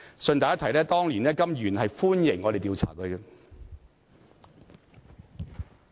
順帶一提，當年的甘議員是歡迎我們調查他的。